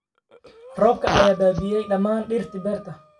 Roobabka ayaa baabi’iyay dhammaan dhirtii beerta